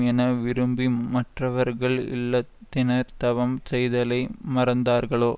என விரும்பி மற்றவர்கள் இல்லறத்தினர் தவம் செய்தலை மறந்தார்களோ